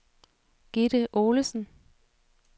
Gitte Olesen